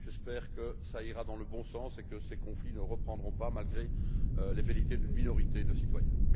J'espère que cela ira dans le bon sens et que ces conflits ne reprendront pas malgré les velléités d'une minorité de citoyens.